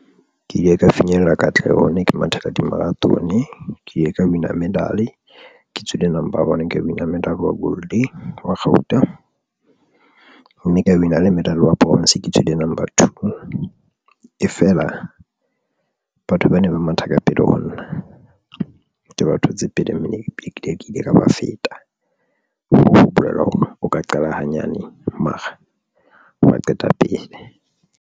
Ke ile ka finyella katleho ne ke mathela di marathon, ke ile ka win a medal, ke tswile number one, ka win-a medal wa gold wa kgauta, mme ka win-a le medal wa bronze, ke tswile number two e fela batho ba neng ba matha ka pele ho nna ke ba thotse pele mme ne ke dula ke ile ka ba feta ho bolela hore o ka qala hanyane mara wa qeta pele.